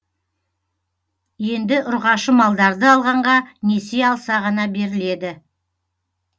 енді ұрғашы малдарды алғанға несие алса ғана беріледі